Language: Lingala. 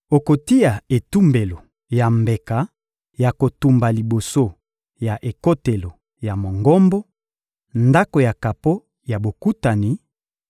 Okotia etumbelo ya mbeka ya kotumba liboso ya ekotelo ya Mongombo, Ndako ya kapo ya Bokutani,